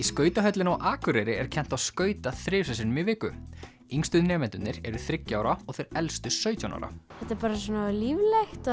skautahöllinni á Akureyri er kennt á skauta þrisvar sinnum í viku yngstu nemendurnir eru þriggja ára og þeir elstu sautján ára þetta er bara svona líflegt